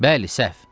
Bəli, səhv.